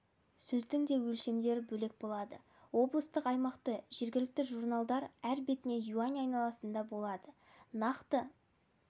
сөздің де өлшемдері бөлек болады облыстық аймақты жергілкті журналдар әр бетіне юань айналасында болады нақты